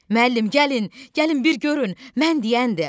Müəllim, gəlin, gəlin bir görün, mən deyəndir.